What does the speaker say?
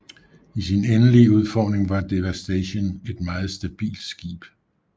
I sin endelige udformning var Devastation et meget stabilt skib